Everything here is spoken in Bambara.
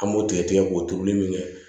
An b'o tigɛ tigɛ k'o turu min kɛ